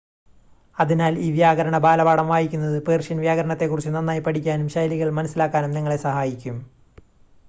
അതിനാൽ, ഈ വ്യാകരണ ബാലപാഠം വായിക്കുന്നത് പേർഷ്യൻ വ്യാകരണത്തെക്കുറിച്ച് നന്നായി പഠിക്കാനും ശൈലികൾ മനസ്സിലാക്കാനും നിങ്ങളെ സഹായിക്കും